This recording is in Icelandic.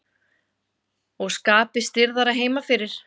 Og skapið stirðara heima fyrir.